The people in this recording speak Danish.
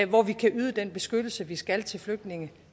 hvor vi kan yde den beskyttelse vi skal til flygtninge